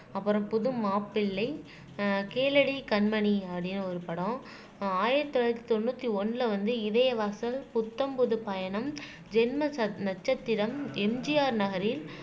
அப்புறம் புது மாப்பிள்ளை ஆஹ் கேளடி கண்மணி அப்படின்னு ஒரு படம் அஹ் ஆயிரத்தி தொள்ளாயிரத்தி தொண்ணூத்தி ஒண்ணுல வந்து இதய வாசல் புத்தம் புது பயணம் ஜென்ம ச நட்சத்திரம் எம்ஜிஆர் நகரில்